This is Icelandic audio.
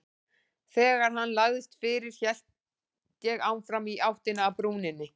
Þegar hann lagðist fyrir hélt ég áfram í áttina að brúninni.